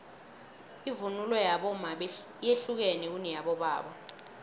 ivunulo yabomma yehlukene kuneyabobaba